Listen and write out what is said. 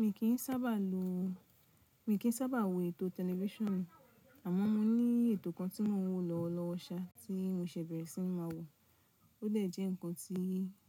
Mi kì í sábà lo, mi kì í sábà wo ètò tẹlifíṣonù, àmọ́ mo ní ètò kan tí mo ń wò lọ́wọ́lọ́wọ́́ ṣà tí mo ṣẹ̀ bẹ̀rẹ̀ sí má wò, ó dẹ̀ jẹ́ ǹkan tí